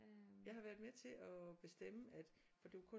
Jeg har været med til at bestemme at for det var kun